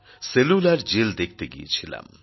cellular jail দেখতে গিয়েছিলাম